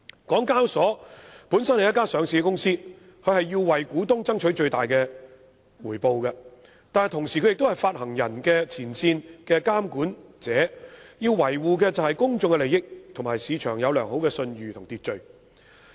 港交所本身是一間上市公司，要為股東爭取最大回報，但同時又是發行人的前線監管者，要維護公眾利益，以及市場要有良好信譽和秩序。